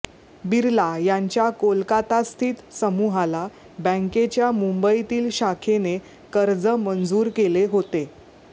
बिर्ला यांच्या कोलकातास्थित समूहाला बँकेच्या मुंबईतील शाखेने कर्ज मंजूर केले होते